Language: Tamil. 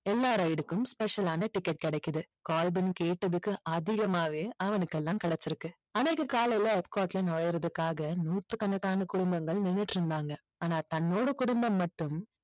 எல்லா ride க்கும் special ஆன ticket கிடைக்குது. கால்வின் கேட்டதுக்கு அதிகமாகவே அவனுக்கெல்லாம் கிடைச்சிருக்கு. அன்னைக்கு காலைல epcot ல நுழையறதுக்காக நூற்றுக்கணக்கான குடும்பங்கள் நின்னுட்டு இருந்தாங்க. ஆனா தன்னோட குடும்பம் மட்டும்